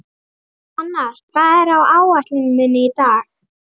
Hrannar, hvað er á áætluninni minni í dag?